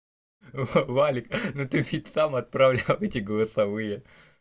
валик ну ты ведь сам отправлю эти голосовые